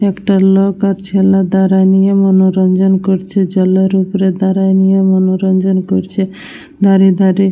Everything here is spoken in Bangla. একটা লোক ছেলে দাঁড়ায় নিয়ে মন রঞ্জন করছে। জলের উপর দাঁড়ায় নিয়ে মন রঞ্জন করতে করছে । ধারে ধারে--